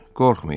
Qorxmayın.